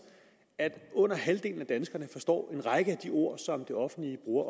at under halvdelen af danskerne forstår en række af de ord som det offentlige bruger